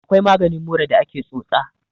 akwai maganin mura da ake tsotsa